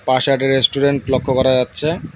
পাশে আরেকটি রেস্টুরেন্ট লক্ষ্য করা যাচ্ছে।